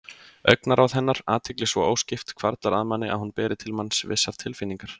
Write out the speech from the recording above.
Augnaráð hennar, athygli svo óskipt, hvarflar að manni að hún beri til manns vissar tilfinningar.